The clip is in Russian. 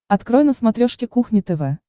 открой на смотрешке кухня тв